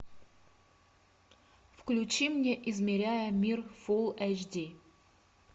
включи мне измеряя мир фулл эйч ди